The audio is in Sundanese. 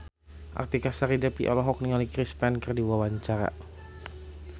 Artika Sari Devi olohok ningali Chris Pane keur diwawancara